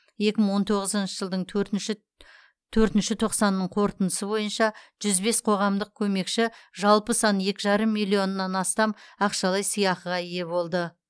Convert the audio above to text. екі мың он тоғызыншы жылдың төртінші тоқсанының қорытындысы бойынша жүз бес қоғамдық көмекші жалпы саны екі жарым миллионнан астам ақшалай сыйақыға ие болды